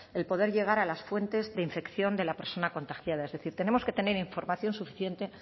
el poder llegar a las fuentes de infección de la persona contagiada es decir tenemos que tener información suficiente